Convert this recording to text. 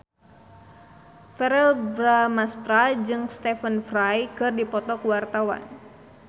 Verrell Bramastra jeung Stephen Fry keur dipoto ku wartawan